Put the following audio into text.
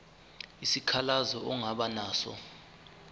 isikhalazo ongaba naso